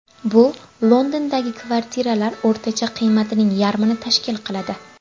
Bu Londondagi kvartitralar o‘rtacha qiymatining yarmini tashkil qiladi.